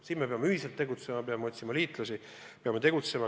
Siin peame ühiselt tegutsema, peame otsima liitlasi.